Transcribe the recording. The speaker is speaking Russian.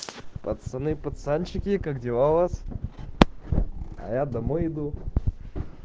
пацаны пацанчики как дела у вас а я домой иду